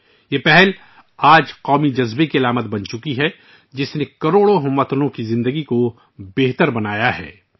آج یہ پہل قومی جذبے کی علامت بن گئی ہے، جس سے کروڑوں ہم وطنوں کی زندگیوں میں بہتری آئی ہے